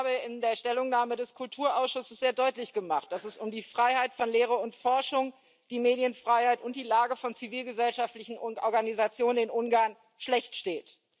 Ich habe in der Stellungnahme des Kulturausschusses sehr deutlich gemacht, dass es um die Freiheit von Lehre und Forschung, die Medienfreiheit und die Lage von zivilgesellschaftlichen Organisationen in Ungarn schlecht steht.